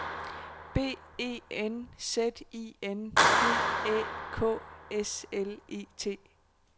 B E N Z I N D Æ K S L E T